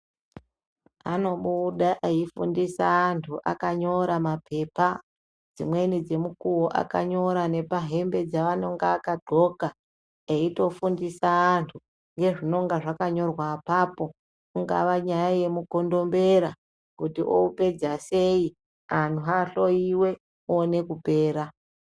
Anobuda eifundisa antu akanyora pamabepa, imweni yemukuwo akanyora nepahembe dzaanonga akadxoka eitofundisa antu nezvinonga zvakanyorwa apapo ingava nyaya yemukondombera kuti oupedza sei antu ahloiwe oone kupera